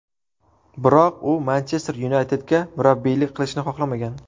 Biroq, u Manchester Yunaytedga murabbiylik qilishni xohlamagan.